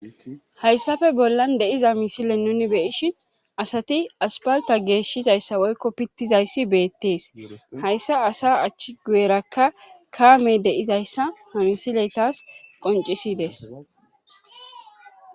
hayssafe bollan de7iza misile nuuni be7ishin asati asppaltta geeshizayssa woykko pittizayssi beettees hayssa asaa achi guyerakka kaamey de7izyssa ha misiley taas qonccisides.